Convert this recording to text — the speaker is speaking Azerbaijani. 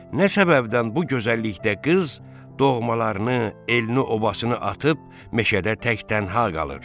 Nə səbəbdən bu gözəllikdə qız doğmalarını, elini-obasını atıb meşədə tək-tənha qalır?